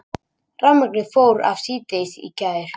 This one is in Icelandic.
Rafmagnið fór af síðdegis í gær